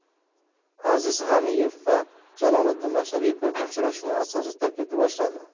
Aziz G‘aniyev va Jaloliddin Masharipov uchrashuvni asosiy tarkibda boshladi.